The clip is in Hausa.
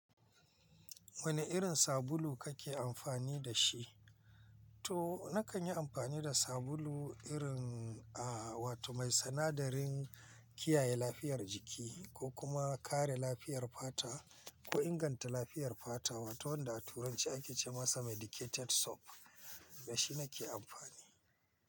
Wane irin sabulu kake amfani da shi? To nakan yi amfani da sabulu irin, a, wato mai sina'darin kiyaye lafiyar jiki ko kuma kare lafiyar fata ko inganta lafiyar fata wato wanda a turanci ake ce masa Medicated soap da shi nake amfani.